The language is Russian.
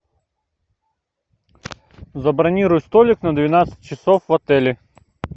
забронируй столик на двенадцать часов в отеле